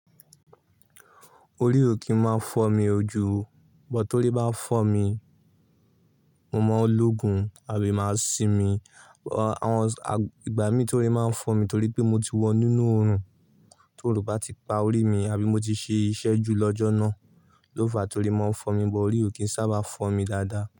Orí ò kí ń máa fọ́ mi jú, but tórí bá fọ́ mi, mo mọ̀ ọlógùn àbí máa sì mí. Àwọn ìgbà mi tórí máa ń fọ́ mi torí pé mo ti wọ inú oòrùn, to oòrùn bá ti pa orí mi àbí mo ti ṣe iṣẹ́ jù lọ́jọ́ náà. Ló fàá ti orí máa ń fọ́ mi, but orí ò kí ń sábà fọ́ mi dáadáa.